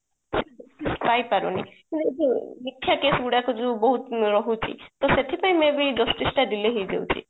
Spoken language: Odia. ପାଇପାରୁନି ମିଥ୍ୟା କେସ ଗୁଡା ଯୋଉ ବହୁତ ରହୁଛି ଟା ସେଥିପାଇଁ may be justice ଟା delay ହେଇ ଯାଉଛି